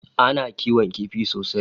Ana kiwon kifi sosai